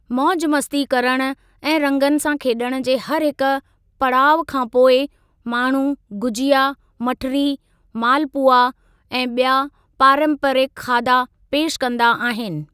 मौजमस्ती करण ऐं रंगनि सां खेॾण जे हरहिकु पड़ाउ खां पोइ, माण्‍हू गुजिया, मठरी, मालपुआ ऐं ॿिया पारंपरिक खादा पेशि कंदा आहिनि।